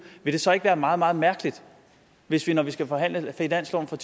vil det så ikke være meget meget mærkeligt hvis vi når vi skal forhandle finansloven for